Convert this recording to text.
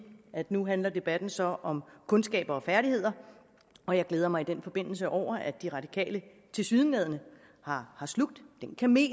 at nu handler debatten så om kundskaber og færdigheder og jeg glæder mig i den forbindelse over at de radikale tilsyneladende har slugt den kamel